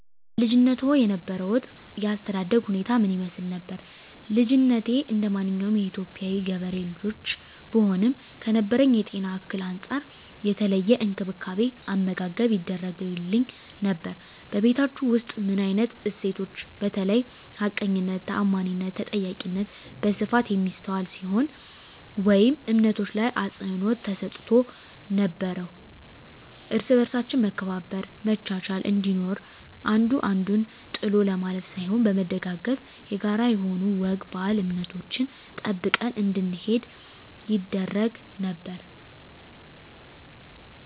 በልጅነትዎ የነበሮት የአስተዳደግ ሁኔታ ምን ይመስል ነበር? ልጅነቴ እንደማንኛውም የኢትዮጵያ ገበሬ ልጆች ብሆንም ከነበረብኝ የጤና እክል አንፃር የተለየ እንክብካቤ አመጋገብ ይደረግግልኝ ነበር በቤታቹ ውስጥ ምን አይነት እሴቶች በተለይ ሀቀኝነት ታአማኒትና ተጠያቂነት በስፋት የሚስተዋል ሲሆን ወይም እምነቶች ላይ አፅንዖት ተሰጥቶ ነበረው እርስ በርሳችን መከባበር መቻቻል እንዲኖር አንዱ አንዱን ጥሎ ለማለፍ ሳይሆን በመደጋገፍ የጋራ የሆኑ ወግ ባህል እምነቶችን ጠብቀን እንድንሄድ ይደረግ ነበር